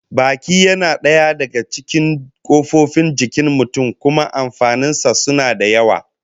Baki yana daya daga cikin kofofin jikin mutum, kuma amfanin sa suna da yawa